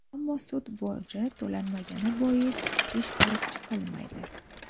Ammo sud boji to‘lanmagani bois ish ko‘rib chiqilmaydi.